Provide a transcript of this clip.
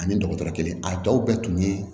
Ani dɔgɔtɔrɔ kelen a dɔw bɛɛ tun ye